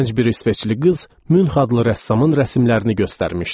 Gənc bir İsveçli qız Münx adlı rəssamın rəsimlərini göstərmişdi.